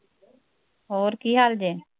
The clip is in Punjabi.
ਹੋਰ ਕੀ ਹਾਲ ਜੇ